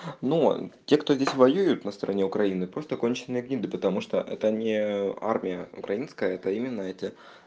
ну ээ те кто здесь воюет на стороне украины просто конченые гниды потому что это не ээ армия украинская это именно эти